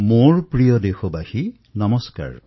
মোৰ মৰমৰ দেশবাসীসকল নমস্কাৰ